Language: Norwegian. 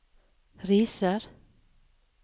Risør